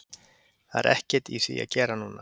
Það er ekkert í því að gera núna.